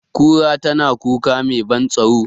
Kura tana kuka mai ban tsaro,